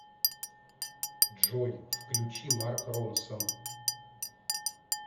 джой включи марк ронсон